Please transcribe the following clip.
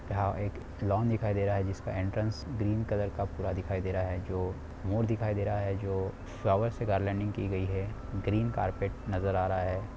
यह एक लॉन दिखाई दे रहा है जिसका एंट्रेंस पूरा ग्रीन कलर का पूरा दिखाई दे रहा है जो मोर दिखाई दे रहा है जो फ्लवार से की गई है ग्रीन कारपेट नजर आ रहा है।